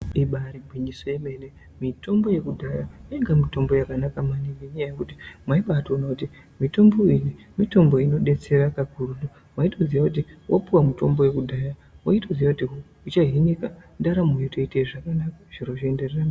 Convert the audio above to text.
Ibaari gwinyiso ye mene mitombo yekudhaya yainga iri mitombo yakanaka maningi. Nenya yekuti mwaitoona kuti mitombo iyi inodetsera maningi waitoziya kuti wapiwa mutombo wekudhaya wayi toziya kuti uchahinika ndaramo yoteenda mberi.